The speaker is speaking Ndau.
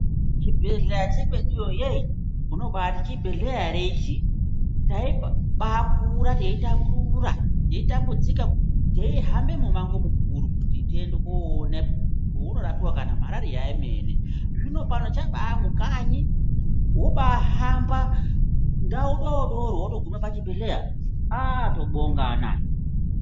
Chibhehleya chekweduyo yeeh! unobaati chibhehleya ere ichi ?, taibaakura teitambura ,teitambudzika teihambe mumango mukuru kuti tiende koone paunorapiwa kanamarariya emene, zvino pano chabaamukanyi woba ahamba ndau dodori wogumapachibhehleya aah tobongana!!!!